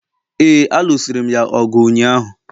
ee, a lụsiri'm ya ọgụ ụnyaahụ